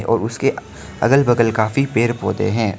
और उसके अगल बगल काफी पेड़ पौधे हैं।